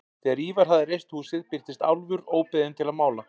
Þegar Ívar hafði reist húsið birtist Álfur óbeðinn til að mála.